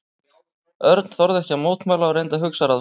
Örn þorði ekki að mótmæla og reyndi að hugsa ráð sitt.